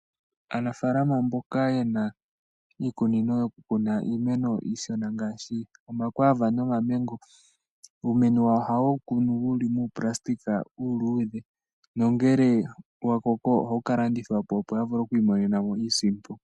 Aanafalama mboka ye na iikunino yo kukuna iimeno iishona ngaashi omaQuiva nOmamengo, uumeno wawo oha ye wu kunu wu li muuplastika uuludhe nongele wa koko oha wu ka landithwapo opo ya vule okwiimonenamo iisimpo.